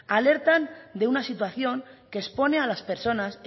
alertan de una situación que expone a las personas